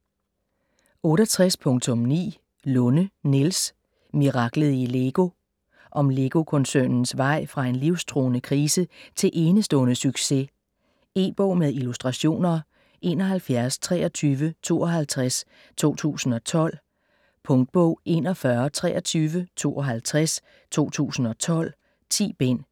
68.9 Lunde, Niels: Miraklet i LEGO Om Lego-koncernens vej fra en livstruende krise til enestående succes. E-bog med illustrationer 712352 2012. Punktbog 412352 2012. 10 bind.